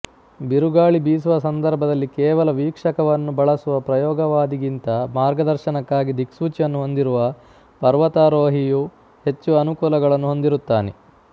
ಬಿರುಗಾಳಿ ಬೀಸುವ ಸಂದರ್ಭದಲ್ಲಿ ಕೇವಲ ವೀಕ್ಷಕವನ್ನು ಬಳಸುವ ಪ್ರಯೋಗವಾದಿಗಿಂತ ಮಾರ್ಗದರ್ಶನಕ್ಕಾಗಿ ದಿಕ್ಸೂಚಿಯನ್ನು ಹೊಂದಿರುವ ಪರ್ವತಾರೋಹಿಯು ಹೆಚ್ಚು ಅನುಕೂಲಗಳನ್ನು ಹೊಂದಿರುತ್ತಾನೆ